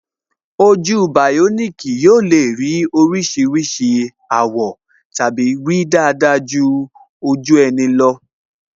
Ojú bioniki yóò le ní oríṣiríṣi àwọ̀ tàbí rí dáadáa ju ojú ẹni lọ